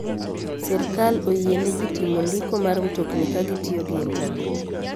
Sirkal oyiene ji timo ndiko mar mtokni ka gitiyo gi intanet.